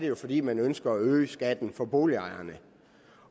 jo fordi man ønsker at øge skatten for boligejerne